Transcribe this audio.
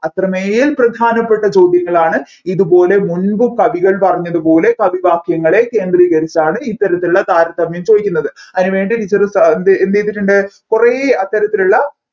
അത്രമേൽ പ്രധാനപ്പെട്ട ചോദ്യങ്ങളാണ് ഇതുപോലെ മുൻപ് കവികൾ പറഞ്ഞപോലെ കവിവാക്യങ്ങളെ കേന്ദ്രികരിച്ചാണ് ഇത്തരത്തിലുള്ള താരതമ്യം ചോദിക്കുന്നത് അതിനു വേണ്ടി teacher എന്തുചെയ്തിട്ടുണ്ട് കുറെ അത്തരത്തിലുള്ള